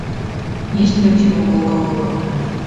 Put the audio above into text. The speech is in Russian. есть ли у тебя волга волга